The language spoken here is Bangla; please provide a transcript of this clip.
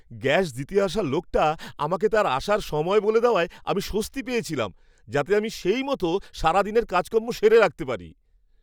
গ্যাস দিতে আসা লোকটা আমাকে তার আসার সময় বলে দেওয়ায় আমি স্বস্তি পেয়েছিলাম, যাতে সেইমত আমি আমার সারাদিনের কাজকর্ম সেরে রাখতে পারি।